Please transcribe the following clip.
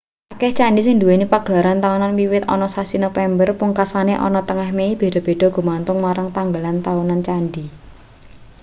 akeh candhi sing nduweni pagelaran taunan wiwit ana sasi nopember pungkasane ana tengah mei beda-beda gumantung marang tanggalan taunan candhi